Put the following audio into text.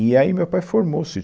E aí meu pai formou o sítio.